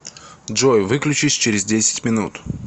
джой выключись через десять минут